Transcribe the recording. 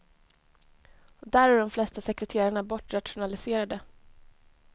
Där är de flesta sekreterarna bortrationaliserade.